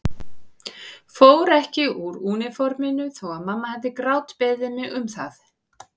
Fór ekki úr úniforminu þó að mamma hefði grátbeðið mig um það.